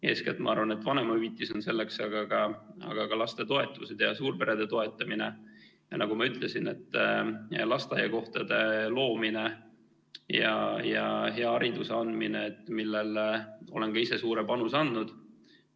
Eeskätt ma arvan, et selleks on vanemahüvitis, aga ka lastetoetused ja suurperede toetamine, ja nagu ma ütlesin, lasteaiakohtade loomine ja hea hariduse andmine, millele olen ka ise suure panuse andnud.